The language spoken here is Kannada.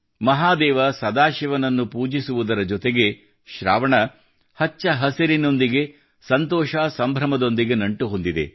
ಮಹಾದೇವ ಸದಾಶಿವನನ್ನು ಪೂಜಿಸುವುದರ ಜೊತೆಗೆ ಶ್ರಾವಣ ಹಚ್ಚ ಹಸಿರಿನೊಂದಿಗೆ ಸಂತೋಷ ಸಂಭ್ರಮದೊಂದಿಗೆ ನಂಟು ಹೊಂದಿದೆ